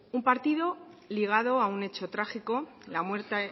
un partido ligado a un hecho trágico la muerte